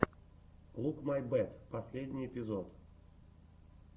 лук май бэт последний эпизод